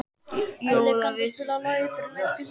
Elli, kanntu að spila lagið „Fyrir löngu síðan“?